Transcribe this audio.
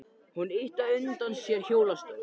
Hún ýtti á undan sér hjólastól.